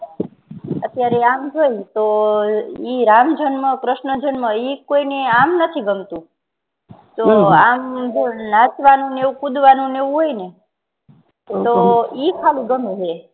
અતિયારે આમ જોઈને તો રામ જન્મ કર્ષ્ણ જન્મ ઈ કોઈ ને આમ નથી ગમતું તો આમ નાચવાનું ને એવું કુદવાનું ને એવું હોય ને તો ઈ ગમે હે